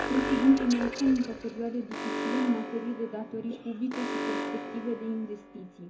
Ne aflăm într o perioadă dificilă în materie de datorii publice și perspective de investiții.